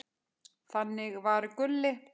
Þannig var Gulli.